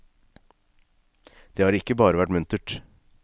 Det har ikke bare vært muntert.